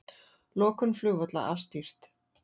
Lokun flugvalla afstýrt